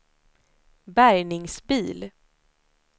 bärgningsbil